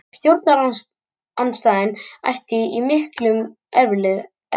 Stjórnarandstaðan ætti í miklum erfiðleikum